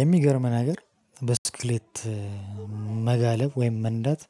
የሚገርም ነገር ብስክሌት መጋለብ ወይም መንዳት